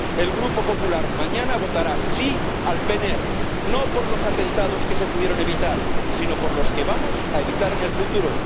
El Grupo Popular mañana votará sí al PNR, no por los atentados que se pudieron evitar sino por los que vamos a evitar en el futuro